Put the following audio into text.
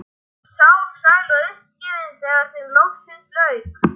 Þau voru sár, sæl og uppgefin þegar þeim loksins lauk.